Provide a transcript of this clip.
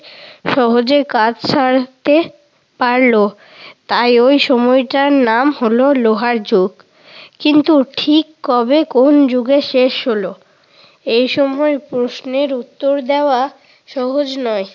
সহজে কাজ সারতে পারল তাই ওই সময়টার নাম হলো লোহার যুগ। কিন্তু ঠিক কবে কোন যুগে শেষ হলো? এসকল প্রশ্নের উত্তর দেওয়া সহজ নয়।